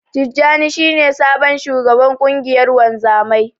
Tijjani shi ne sabon shugaban ƙungiyar wanzamai.